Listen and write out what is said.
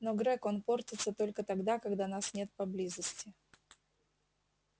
но грег он портится только тогда когда нас нет поблизости